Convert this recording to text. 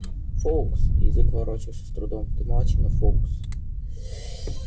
фоукс язык ворочался с трудом ты молодчина фоукс